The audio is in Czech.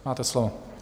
Máte slovo.